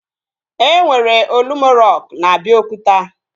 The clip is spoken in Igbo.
E nwere Olumo rock na Abiokuta